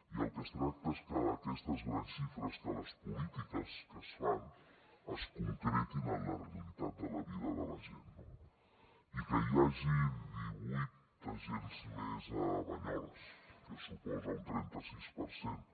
i del que es tracta és que aquestes grans xifres que les polítiques que es fan es concretin en la realitat de la vida de la gent no i que hi hagi divuit agents més a banyoles que suposa un trenta sis per cent